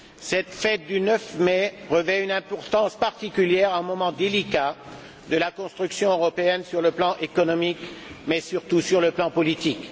Cette fête du 9 mai revêt une importance particulière à un moment délicat de la construction européenne sur le plan économique, mais surtout sur le plan politique.